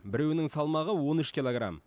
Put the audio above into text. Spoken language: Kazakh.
біреуінің салмағы он үш килограмм